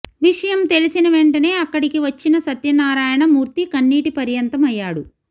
విషయం తెలిసిన వెంటనే అక్కడికి వచ్చిన సత్యనారాయణ మూర్తి కన్నీటి పర్యంతం అయ్యాడు